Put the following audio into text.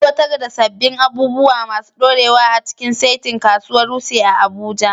Aiwatar da sabbin abubuwa masu dorewa a cikin saitin Kasuwar Wuse a Abuja.